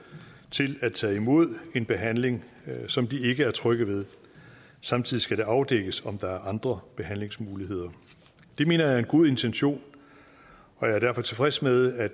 til at tage imod en behandling som de ikke er trygge ved samtidig skal det afdækkes om der er andre behandlingsmuligheder det mener jeg er en god intention jeg er derfor tilfreds med at